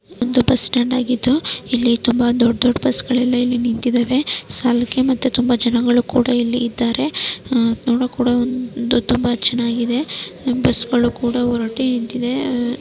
ಇದು ಒಂದು ಬಸ್ಸ್ಟ್ಯಾಂಡ್ ಆಗಿದ್ದು ಇಲ್ಲಿ ತುಂಬಾ ದೊಡ್ಡ ದೊಡ್ಡ ಬಸ್ಗಳು ಎಲ್ಲಾ ಇಲ್ಲಿ ನಿಂತಿದಾವೆ ಸಾಲುಕ್ಕೆ ಮತ್ತೆ ತುಂಬಾ ಜನಗಳು ಕೂಡ ಇಲ್ಲಿ ಇದ್ದಾರೆ ನೋಡೋಕು ಕೊಡ ತುಂಬಾ ಚೆನ್ನಾಗಿದೆ ಬಸ್ಗಳು ಕೂಡ ಹೊರಟಿ ನಿಂತಿದೆ --